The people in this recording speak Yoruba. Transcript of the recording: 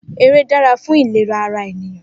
Eré dára fún ìléra ara ènìyàn